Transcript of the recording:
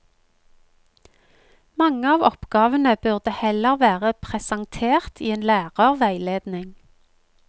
Mange av oppgavene burde heller vært presentert i en lærerveiledning.